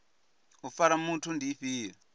u fara muthu ndi ifhio